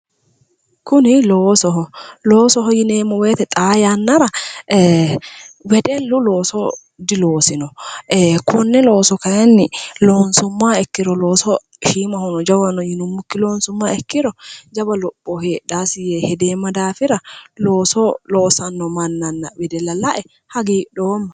kuni loosoho, loosoho yineemmo woyte xaa yannara wedellu looso diloosino konne looso kayiinni loonsummoha ikkiro shiimahono jawahono yinummokkinni loonsummoro jawa lopho heedhasi yee gedeemma daafira, looso loossawo wedella lae hagiidhoomma